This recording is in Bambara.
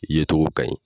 I ye cogo ka ɲi